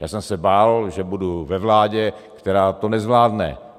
Já jsem se bál, že budu ve vládě, která to nezvládne.